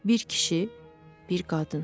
Bir kişi, bir qadın.